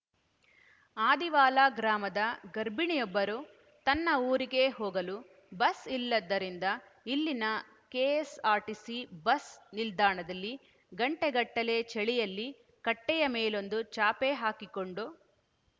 ಆದಿವಾಲ ಗ್ರಾಮದ ಗರ್ಭಿಣಿಯೊಬ್ಬರು ತನ್ನ ಊರಿಗೆ ಹೋಗಲು ಬಸ್‌ ಇಲ್ಲದ್ದರಿಂದ ಇಲ್ಲಿನ ಕೆಎಸ್ಸಾರ್ಟಿಸಿ ಬಸ್‌ ನಿಲ್ದಾಣದಲ್ಲಿ ಗಂಟೆಗಟ್ಟಲೇ ಚಳಿಯಲ್ಲಿ ಕಟ್ಟೆಯ ಮೇಲೊಂದು ಚಾಪೆ ಹಾಕಿಕೊಂಡು